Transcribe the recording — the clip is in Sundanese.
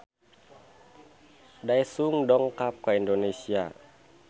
Daesung dongkap ka Indonesia